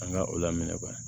An ka o laminɛ